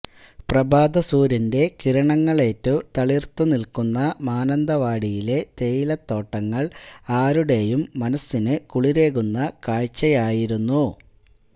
പ്രഭാതസൂര്യന്റെ കിരണങ്ങളേറ്റു തളിര്ത്തു നില്ക്കുന്ന മാനന്തവാടിയിലെ തേയിലത്തോട്ടങ്ങള് ആരുടെയും മനസിനു കുളിരേകുന്ന കാഴ്ചയായിരുന്നു